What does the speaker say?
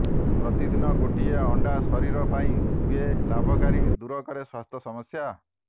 ପ୍ରତିଦିନ ଗୋଟିଏ ଅଣ୍ଡା ଶରୀର ପାଇଁ ହୁଏ ଲାଭକାରୀ ଦୂର କରେ ସ୍ୱାସ୍ଥ୍ୟ ସମସ୍ୟା